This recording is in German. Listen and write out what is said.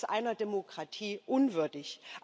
Das ist einer Demokratie unwürdig.